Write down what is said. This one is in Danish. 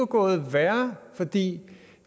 gået værre fordi